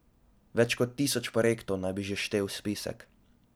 Več kot tisoč projektov naj bi že štel spisek.